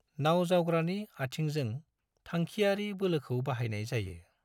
नाव जावग्रानि आथिंजों थांखियारि बोलोखौ बाहायनाय जायो।